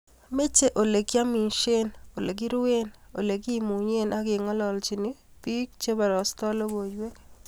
meche olegiamishen, olegiruen, olegimunye ago kengololjini biko chebarastai logoywek